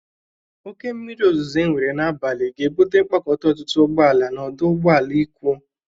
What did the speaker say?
Oke mmiri ozụzụ enwere n'abalị ga-ebụte mkpakọta ọtụtụ ụgbọ ala n'ọdụ ụgbọ ala Ikwo.